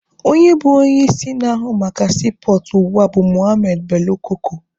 Onye bụ onye isi ndị na-ahụ maka siipọọtụ ugbua bụ Mohammed Bello Koko.